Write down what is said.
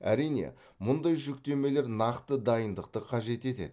әрине мұндай жүктемелер нақты дайындықты қажет етеді